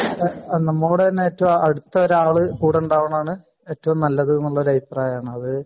നമ്മളുടെതന്നെ ഏറ്റവും അടുത്ത ഒരു ആള് കൂടെ ഉണ്ടാവുന്നതാണ് നല്ലത് എന്ന അഭിപ്രായമാണ്